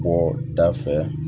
Bɔ da fɛ